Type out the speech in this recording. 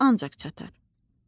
özümə ancaq çatar.